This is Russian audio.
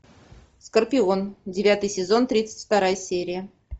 скорпион девятый сезон тридцать вторая серия